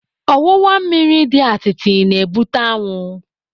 Ọwụwa mmiri dị atịtị na-ebute anwụ.